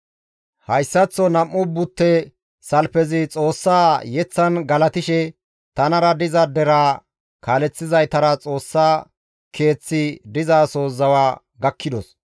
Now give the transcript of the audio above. Hayssaththo nam7u butte salfezi Xoossa yeththan galatishe tanara diza deraa kaaleththizaytara Xoossa keeththi dizaso zawa gakkidos;